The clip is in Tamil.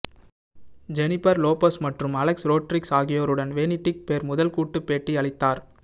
ஜெனிபர் லோபஸ் மற்றும் அலெக்ஸ் ரோட்ரிக்ஸ் ஆகியோருடன் வேனிட்டி ஃபேர் முதல் கூட்டு பேட்டி அளித்தார்